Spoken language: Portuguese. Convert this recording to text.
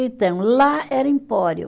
Então, lá era empório.